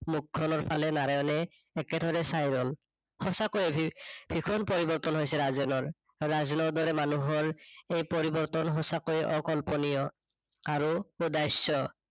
মুখখনৰ ফালে নাৰায়ণে একেথৰে চাই ৰল। সচাকয়ে ভীষণ পৰিৱৰ্তন হৈছে ৰাজেনৰ, ৰাজেনৰ দৰে মানুহৰ এই পৰিৱৰ্তন সণচাকয়ে অকল্পনীয় আৰু উদাহ্য।